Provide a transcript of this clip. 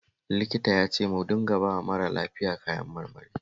Likitan ya ce mu dinga bawa mara lafiyan kayan marmari